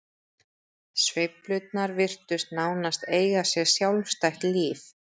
Sveiflurnar virtust nánast eiga sér sjálfstætt líf.